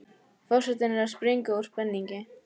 Forsetinn er að springa úr spenningi.